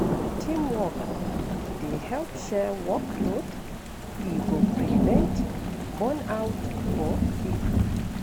Teamwork dey help share workload, e go prevent burnout for pipo.